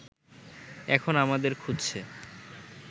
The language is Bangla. এখন আমাদের খুঁজছে